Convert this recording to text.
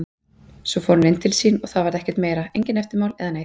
Svo fór hann inn til sín og það varð ekkert meira, engin eftirmál eða neitt.